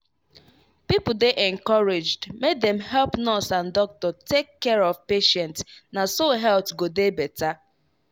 people dey encouraged make dem help nurse and doctor take care of patient na so health go dey better.